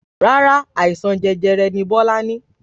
Rárá, àìsàn jẹjẹrẹ ní Bọ́lá ní